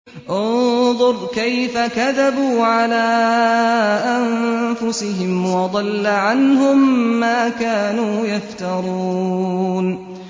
انظُرْ كَيْفَ كَذَبُوا عَلَىٰ أَنفُسِهِمْ ۚ وَضَلَّ عَنْهُم مَّا كَانُوا يَفْتَرُونَ